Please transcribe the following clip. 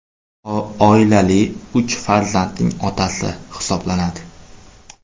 Oilali, uch farzandning otasi hisoblanadi.